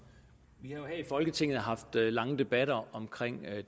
i folketinget haft lange debatter om